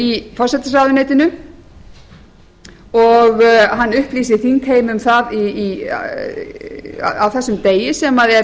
í forsætisráðuneytinu og hann upplýsir þingheim um það á þessum degi sem er